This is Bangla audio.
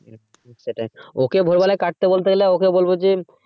সেটাই ও কে ভোরবেলাই কাটতে বলতে গেলে ও কে বলবো যে,